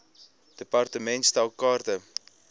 department stel kaarte